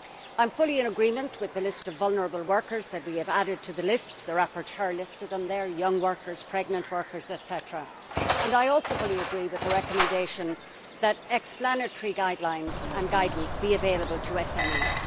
I am fully in agreement with the list of vulnerable workers that we have added to the list. The rapporteur listed them young workers, pregnant workers, etc. I also fully agree with the recommendation that explanatory guidelines and guidance be available to SMEs.